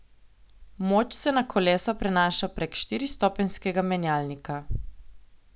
Moč se na kolesa prenaša prek štiristopenjskega menjalnika.